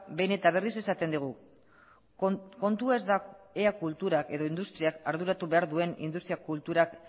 behin eta berriz esaten digu kontua ez dela ea kulturak edo industriak arduratu behar duen industria